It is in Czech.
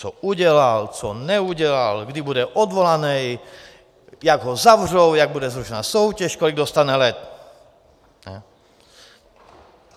Co udělal, co neudělal, kdy bude odvolaný, jak ho zavřou, jak bude zrušena soutěž, kolik dostane let.